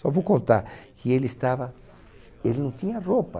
Só vou contar que ele estava, ele não tinha roupa.